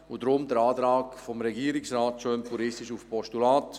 Deshalb der Antrag des Regierungsrates auf ein Postulat.